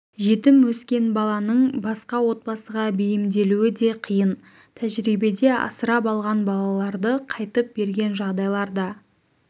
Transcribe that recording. жетім өскен баланың басқа отбасыға бейімделуі де қиын тәжірибеде асырап алған балаларды қайтып берген жағдайлар да